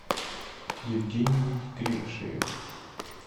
евгений кривошеев